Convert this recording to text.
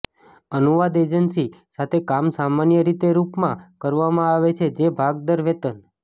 અનુવાદ એજન્સી સાથે કામ સામાન્ય રીતે રૂપમાં કરવામાં આવે છે ભાગ દર વેતન